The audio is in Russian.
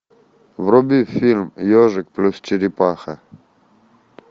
вруби фильм ежик плюс черепаха